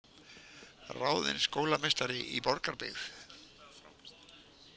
Ráðin skólameistari í Borgarbyggð